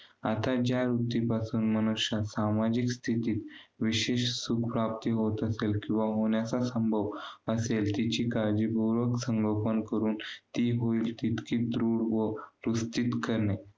आता ज्या वृत्तीपासून मनुष्य सामाजिक स्थितीत विशेष सुखप्राप्ती होत असेल, किंवा होण्याचा संभव असले. तिची काळजीपूर्वक संगोपन करून. ती होईल तितकी दृढ व करणे.